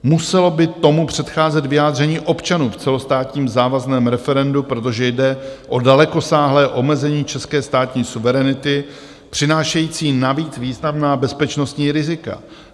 Muselo by tomu předcházet vyjádření občanů v celostátním závazném referendu, protože jde o dalekosáhlé omezení české státní suverenity přinášející navíc významná bezpečnostní rizika.